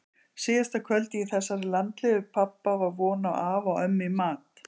Síðasta kvöldið í þessari landlegu pabba var von á afa og ömmu í mat.